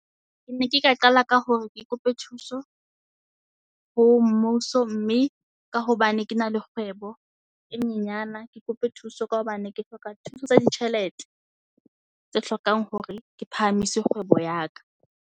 Ke ne ke ka qala ka hore ke kope thuso ho mmuso mme ka hobane ke na le kgwebo e nyenyana. Ke kope thuso ka hobane ke hloka thuso tsa ditjhelete tse hlokang hore ke phahamise kgwebo ya ka.